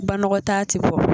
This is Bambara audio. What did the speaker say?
Banakɔ taa ti bɔ